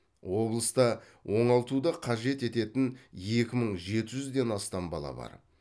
облыста оңалтуды қажет ететін екі мың жеті жүзден астам бала бар